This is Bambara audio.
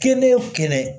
Kelen o kelen